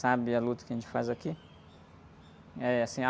sabe a luta que a gente faz aqui. Eh, assim